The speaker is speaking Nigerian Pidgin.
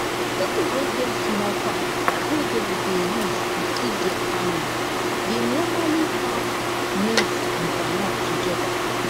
pipo wey get small farm wey dem dey use to feed their family dey normally farm maize and groundnut together